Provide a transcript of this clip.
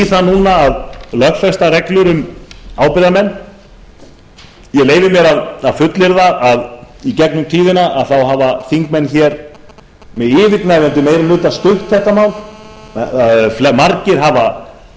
það núna að lögfesta reglur um ábyrgðarmenn ég leyfi mér að fullyrða að í gegnum tíðina hafa þingmenn hér með yfirgnæfandi meiri hluta stutt þetta mál margir